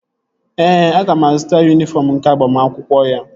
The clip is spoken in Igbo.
Ee, aga m azụta yunifọm nke agbamakwụkwọ ya